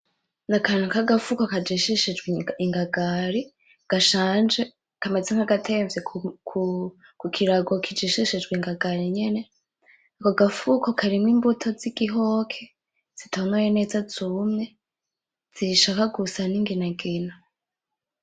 Ni akantu k'agafuko kajishishijwe ingagari gashanje kameze nk'agatemvye ku kirago kijishishijwe ingagari nyene. Ako gafuko karimwo imbuto z'igihoke, zitonoye neza zumye, zishaka gusa n'inginagina.